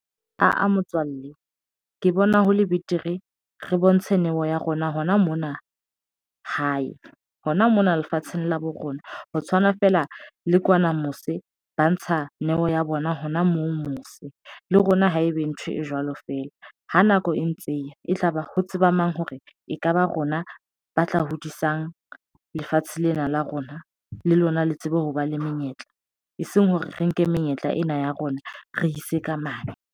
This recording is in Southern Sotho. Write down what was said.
Aa motswalle ke bona hole betere re bontshe neo ya rona hona mona hae hona mona lefatsheng la bo rona ho tshwana feela le kwana mose ba ntsha neo ya bona hona moo mose le rona ha ebe ntho e jwalo feela. Ha nako e ntse e tlaba ho tseba mang hore ekaba rona ba tla hodisang lefatshe lena la rona, le lona le tsebe hoba le menyetla eseng hore re nke menyetla ena ya rona re ise ka mane.